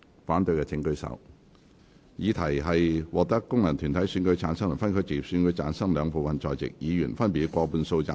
我認為議題獲得經由功能團體選舉產生及分區直接選舉產生的兩部分在席議員，分別以過半數贊成。